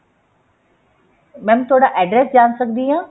mam ਤੁਹਾਡਾ address ਜਾਣ ਸਕਦੀ ਹਾਂ